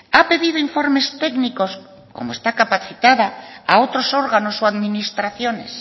ha pedido informes técnicos como está capacitada a otros órganos o administraciones